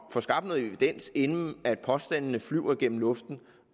få skabt noget evidens inden at påstandene flyver gennem luften